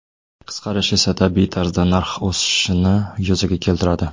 Qisqarish esa, tabiiy tarzda, narx o‘sishini yuzaga keltiradi.